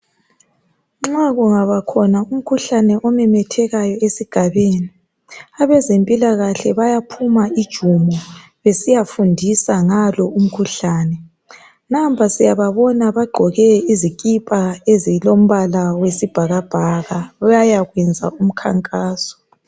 Nxa kungaba khona umkhuhlane omemethekayo esigabeni .Abezempilakahle bayaphuma ijumo besiyafundisa ngalo umkhuhlane . Nampa siyababonga bagqoke izikipa ezilombala wesibhakabhaka ,bayakwenza umkhankaso .